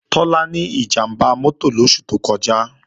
Tọ́lá ní ìjàmbá mọ́tò lóṣù tó kọjá